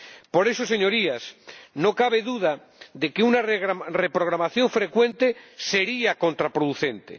Por eso, Señorías, no cabe duda de que una reprogramación frecuente sería contraproducente.